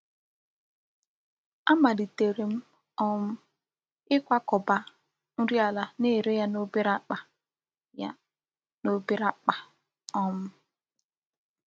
Amalitere m um ịkwakọba nri ala na-ere ya n’obere akpa. ya n’obere akpa. um